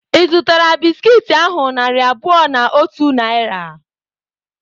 Ị zutara bisiki ahu narị abụọ na otu Naira?